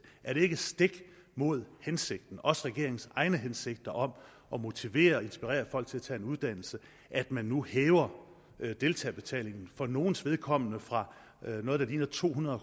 er det ikke stik imod hensigten også regeringens egne hensigter om at motivere og inspirere folk til at tage en uddannelse at man nu hæver deltagerbetalingen for nogles vedkommende fra noget der ligner to hundrede